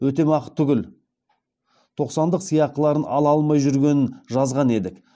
өтемақы түгіл тоқсандық сыйақыларын ала алмай жүргенін жазған едік